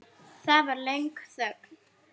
Það varð löng þögn.